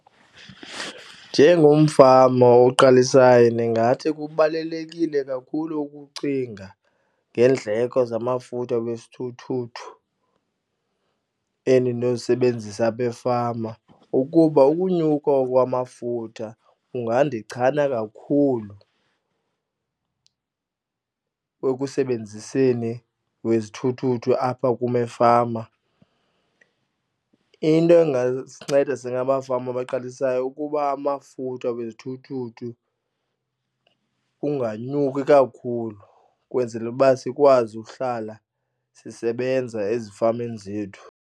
Njengomfama oqalisayo ndingathi kubalulekile kakhulu ukucinga ngeendleko zamafutha wesithuthuthu endinozisebenzisa apha efama ukuba ukunyuka kwamafutha kungandichana kakhulu ekusebenziseni wezithuthuthu apha kum efama. Into ingasinceda singamafama abaqalisayo ukuba amafutha wesithuthuthu unganyuki kakhulu ukwenzela uba sikwazi ukuhlala sisebenza ezifamini zethu.